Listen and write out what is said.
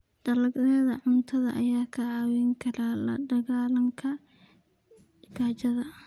Dalagyada cuntada ayaa kaa caawin kara la dagaallanka gaajada.